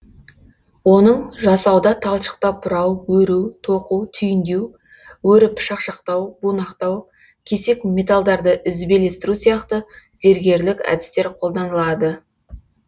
оның жасауда талшықтап бұрау өру тоқу түйіндеу өріп шақшақтау бунақтау кесек металдарды ізбелестіру сияқты зергерлік әдістер қолданылады